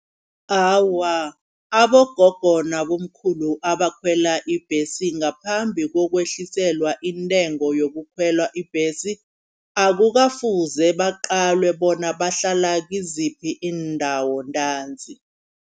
Awa abogogo nabomkhulu abakhwela ibhesi ngaphambi kokwehliselwa iintengo yokukhwela ibhesi. Akukafuzi baqalwe bona bahlala kiziphi iindawo ntanzi.